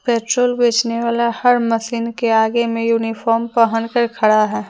Petrol बेचने वाला हर मशीन के आगे में यूनिफार्म पहन कर खड़ा है।